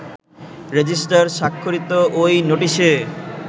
registrar স্বাক্ষরিত ওই নোটিশে